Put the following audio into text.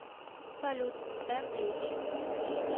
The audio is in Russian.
салют тенэйдж